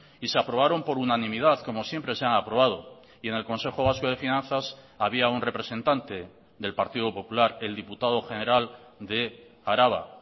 y se aprobaron por unanimidad como siempre se han aprobado y en el consejo vasco de finanzas había un representante del partido popular el diputado general de araba